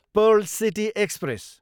Perl city express